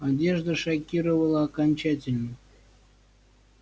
одежда шокировала окончательно